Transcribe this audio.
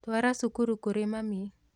Twara cuka kũrĩ mami